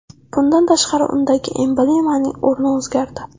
Bundan tashqari, undagi emblemaning o‘rni o‘zgardi.